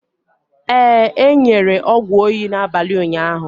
Ee, e nyere ọgwụ oyi n'abalị ụnyaahụ.